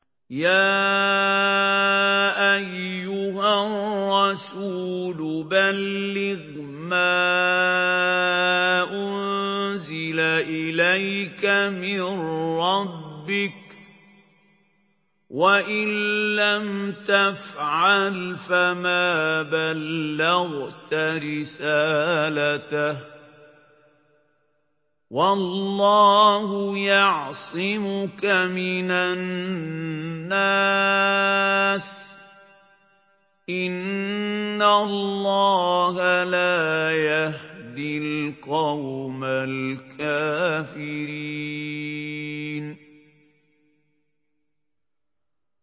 ۞ يَا أَيُّهَا الرَّسُولُ بَلِّغْ مَا أُنزِلَ إِلَيْكَ مِن رَّبِّكَ ۖ وَإِن لَّمْ تَفْعَلْ فَمَا بَلَّغْتَ رِسَالَتَهُ ۚ وَاللَّهُ يَعْصِمُكَ مِنَ النَّاسِ ۗ إِنَّ اللَّهَ لَا يَهْدِي الْقَوْمَ الْكَافِرِينَ